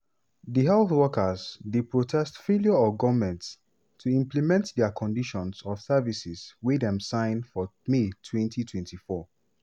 di health workers dey protest failure of goment to implement dia conditions of service wey dem sign for may 2024.